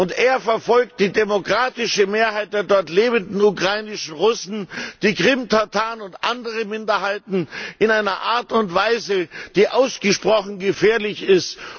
Und er verfolgt die demokratische Mehrheit der dort lebenden ukrainischen Russen, die Krimtataren und andere Minderheiten in einer Art und Weise, die ausgesprochen gefährlich ist.